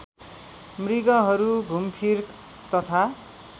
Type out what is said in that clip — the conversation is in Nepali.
मृगहरू घुमफिर तथा